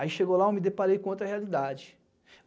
Aí, chegou lá, eu me deparei com outra realidade.